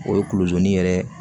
O ye kulozo ni yɛrɛ